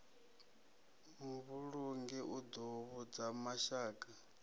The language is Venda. muvhulungi u ḓo vhudza mashaka